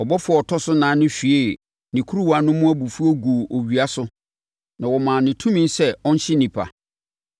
Ɔbɔfoɔ a ɔtɔ so ɛnan no hwiee ne kuruwa no mu abufuo guu owia so na wɔmaa no tumi sɛ ɔnhye nnipa.